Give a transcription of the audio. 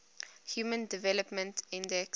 human development index